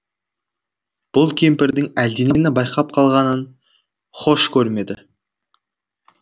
бұл кемпірдің әлденені байқап қалғанын хош көрмеді